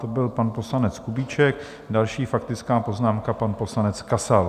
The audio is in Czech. To byl pan poslanec Kubíček, další faktická poznámka, pan poslanec Kasal.